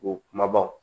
O kumabaw